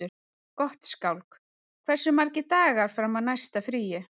Gottskálk, hversu margir dagar fram að næsta fríi?